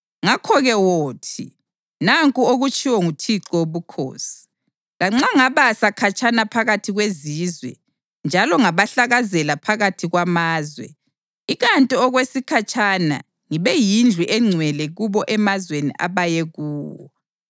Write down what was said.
“Ngakho-ke wothi: ‘Nanku okutshiwo nguThixo Wobukhosi: Lanxa ngabasa khatshana phakathi kwezizwe njalo ngabahlakazela phakathi kwamazwe, ikanti okwesikhatshana ngibe yindlu engcwele kubo emazweni abaye kuwo.’